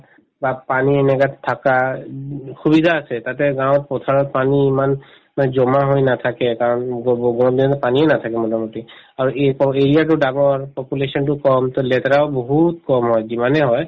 তাত পানী এনেকুৱাত থাকা উব সুবিধা আছে তাতে গাঁৱত পথাৰত পানী ইমান মানে জমা হৈ নাথাকে কাৰণ গগ গৰম দিনত পানীও নাথাকে মোটামটি আৰু এই population তো কম to লেতেৰাও বহুত কম হয় যিমানে হয়